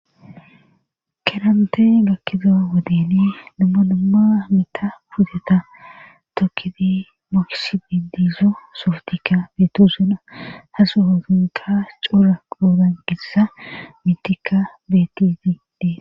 kerante gakkiza wodeni lumonamma mita pudata tokkidi mookisi bidiizo softikka beetu sona hasu hoofinka cuura goran gissa mitika betizidei